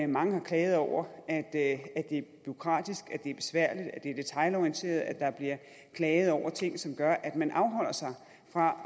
mange har klaget over at det er bureaukratisk at det er besværligt at det er detailorienteret der bliver klaget over ting som gør at man afholder sig fra